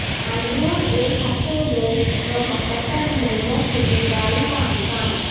اندرون ایک ہفتے گریڈز و مختصر میمو کی اجرائی کا امکان